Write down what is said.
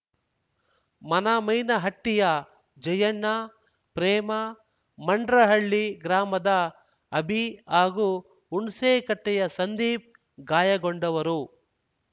ಮನಮೈನಹಟ್ಟಿಯ ಜಯಣ್ಣ ಪ್ರೇಮ ಮಂಡ್ರಹಳ್ಳಿ ಗ್ರಾಮದ ಅಭಿ ಹಾಗೂ ಹುಣ್ಸೇಕಟ್ಟೆಯ ಸಂದೀಪ್‌ ಗಾಯಗೊಂಡವರು